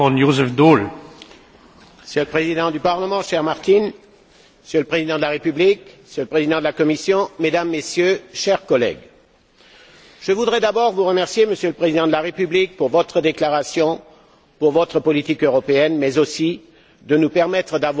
Monsieur le Président, cher Martin, Monsieur le Président de la République, Monsieur le Président de la Commission, Mesdames, Messieurs, chers collègues, je voudrais d'abord vous remercier, Monsieur le Président de la République, pour votre déclaration, pour votre politique européenne, mais aussi de nous permettre de tenir ce débat aujourd'hui.